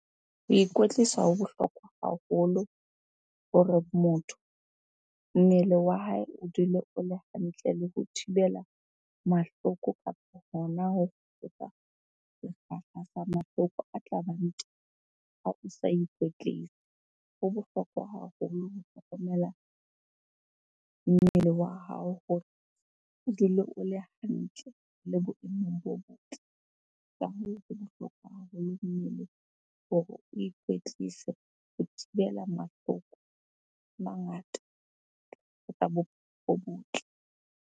Ho ikwetlisa ho bohlokwa haholo hore motho, mmele wa hae o dule o le hantle le ho thibela mahloko kapo hona ho hloka sekgahla sa mahloko a tlabang teng ha o sa ikwetlise. Ho bohlokwa haholo ho hlokomela mmele wa hao hore o dule o le hantle le boemong bo botle. Ka hoo, ho bohlokwa haholo mmeleng hore o ikwetlise, ho thibela mahloko a mangata ho ka bo botle.